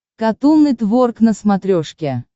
катун нетворк на смотрешке